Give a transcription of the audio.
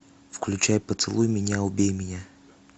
включай поцелуй меня убей меня